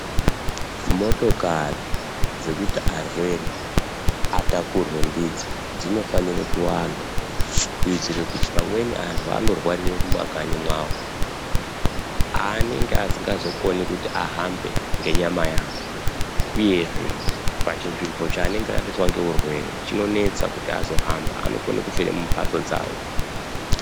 Motokari dzekuti arwere atakurwe ndidzo dzinofanire kuwanda. Kuitire kuti pamweni antu anorwarire mumakanyi mwavo. Paanenge asingazokoni kuti ahambe nenyama yavo, uyezve pachinzvimbo chaanenge asvitswa ngeurwere chinonetsa kuti azohamba anokona kufira mumhatso dzavo.